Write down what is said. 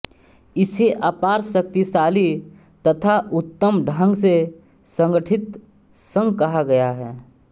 इसे अपार शक्तिशाली तथा उत्तम ढंग से संगठित संघ कहा गया है